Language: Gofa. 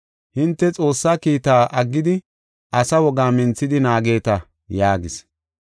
“Hinte Xoossaa kiitaa aggidi asa wogaa minthidi naageta” yaagis.